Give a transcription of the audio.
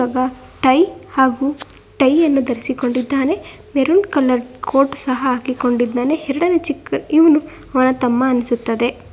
ಆ ಟೈ ಹಾಗು ಟೈ ಯನ್ನು ಧರಿಸಿಕೊಂಡಿದ್ದಾನೆ ಮೆರೂನ್ ಕಲರ್ ಕೋರ್ಟ್ ಸಹ ಹಾಕಿಕೊಂಡಿದ್ದಾನೆ ಎರಡನೇ ಚಿಕ್ಕ ಇವನು ಅವರ ತಮ್ಮ ಅನ್ಸುತ್ತದೆ.